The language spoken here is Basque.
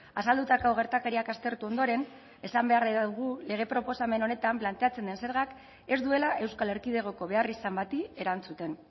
azaldutako gertakariak aztertu ondoren esan beharra dugu lege proposamen honetan planteatzen den zergak ez duela euskal erkidegoko beharrizan bati erantzuten